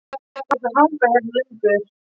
Það þýðir ekkert að hanga hérna lengur.